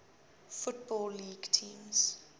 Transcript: football league teams